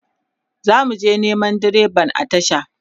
zamuje Neman direban a tasha